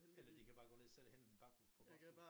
Eller de kan bare gå ned selv og hente en pakke på posthuset